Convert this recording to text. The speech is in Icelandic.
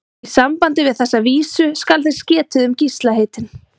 Í sambandi við þessa vísu skal þess getið um Gísla heitinn